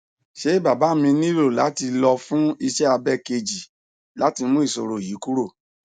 se baba mi nilo lati lo fun ise abe ikeji lati mu isoro yi kuro